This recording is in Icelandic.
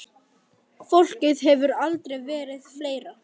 Fólkið hefur aldrei verið fleira.